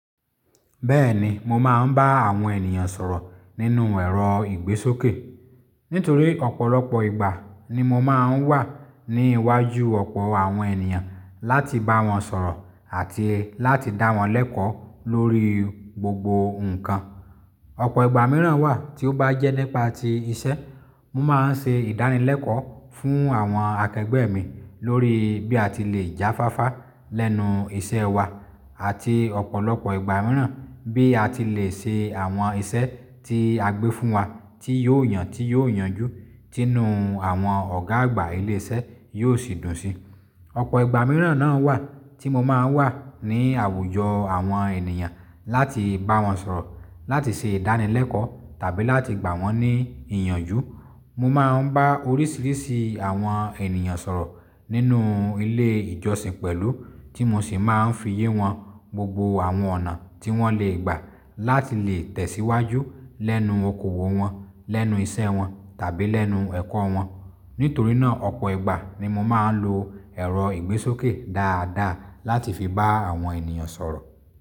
Bẹ́ẹ̀ni mo máa ń bá àwọn ènìyàn sọ̀rọ̀ nínú ẹ̀rọ ìgbésókè. Nítorí ọ̀pọ̀lọpọ̀ ìgbà ni mo máa ń wà ní iwájú ọ̀pọ̀ àwọn ènìyàn láti bá wọn sọ̀rọ̀ àti láti dá wọn lẹ́kọ̀ọ́ lórí gbogbo ǹkan. Ọ̀pọ̀ ìgbà mìíràn wà tí ó bá jẹ́ nípa ti iṣẹ́, mo máa ń ṣe ìdánilẹ́kọ̀ọ́ fún àwọn akẹgbẹ́ mi lórí bí a ti le já fáfá lẹ́nu iṣẹ́ wa àti ọ̀pọ̀lọpọ̀ ìgbà mìíràn, bí a ti le ṣe àwọn iṣẹ́ tí a gbé fún wa tí yóò yàn, tí yóò yanjú, tí inú àwọn ọ̀gá àgbà ilé iṣẹ́ yóò sì dùn sí. Ọ̀pọ̀ ìgbà mìíràn náà wà tí mo máa ń wà ní àwùjọ àwọn ènìyàn láti bá wọn sọ̀rọ̀, láti ṣe ìdánilẹ́kọ̀ọ́ tàbí láti gbà wọ́n ní ìyànjú. Mo máa ń bá oríṣiríṣi àwọn ènìyàn sọ̀rọ̀ nínú ilé ìjọsìn pẹ̀lú tí mo sì máa ń fi yé wọn gbogbo àwọn ọ̀nà tí wọ́n lè gbà láti lè tẹ̀síwájú lẹ́nu okoòwò wọn, lẹ́nu iṣẹ́ wọn tàbí lẹ́nu ẹ̀kọ́ wọn. Nítorí náà ọ̀pọ̀ ìgbà ni mo máa ń lo ẹ̀rọ ìgbésókè dáadáa láti fi bá àwọn ènìyàn sọ̀rọ̀.